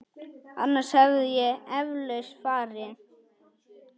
Annars hefði ég eflaust farið.